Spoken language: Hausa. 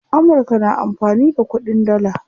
Amurka na amfani da kuɗin dalla.